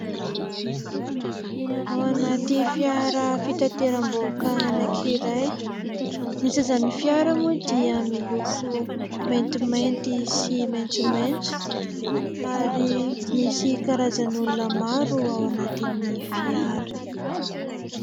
Ao anaty fiara fitateram-bahoaka anankiray. Ny sezan'ny fiara moa dia miloko maintimainty sy maintsomaintso, ary misy karazan'olona maro ao anatin'ny fiara.